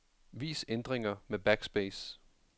Vis ændringer med backspace.